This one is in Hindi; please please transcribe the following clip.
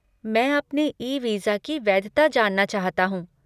मैं अपने ई वीज़ा की वैधता जानना चाहता हूँ।